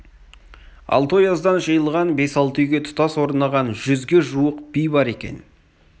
алты ояздан жиылған бес-алты үйге тұтас орнаған жүзге жуық би бар екен